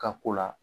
Ka ko la